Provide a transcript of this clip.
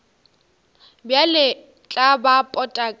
bjale tla ba pota kae